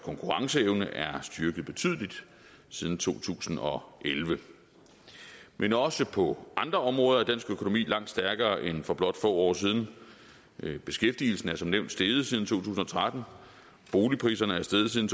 konkurrenceevne er styrket betydeligt siden to tusind og elleve men også på andre områder er dansk økonomi langt stærkere end for blot få år siden beskæftigelsen er som nævnt steget siden to tusind og tretten boligpriserne er steget siden